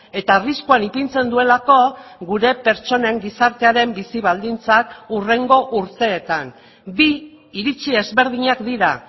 eta arriskuan ipintzen duelako gure pertsonen gizartearen bizi baldintzak hurrengo urteetan bi iritzi ezberdinak dira